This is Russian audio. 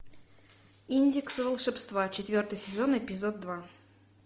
индекс волшебства четвертый сезон эпизод два